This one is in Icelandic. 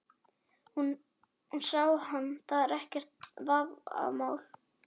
Hún sá hann, það er ekkert vafamál.